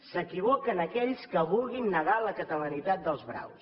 s’equivoquen aquells que vulguin negar la catalanitat dels braus